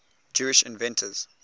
jewish inventors